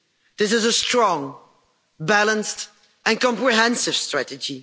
This is a strong, balanced and comprehensive strategy.